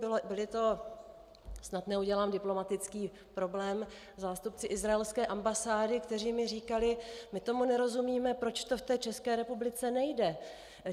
Byli to - snad neudělám diplomatický problém - zástupci izraelské ambasády, kteří mi říkali: "My tomu nerozumíme, proč to v té České republice nejde.